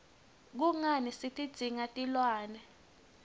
kungani sitidzinga tilwne